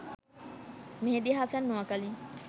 Mehedi Hasan, Noakhali